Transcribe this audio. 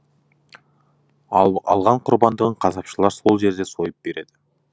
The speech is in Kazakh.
ал алған құрбандығын қасапшылар сол жерде сойып береді